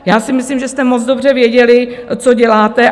Já si myslím, že jste moc dobře věděli, co děláte.